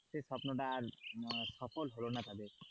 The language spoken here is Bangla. সেই স্বপ্নটা আর সফল হলো তাদের,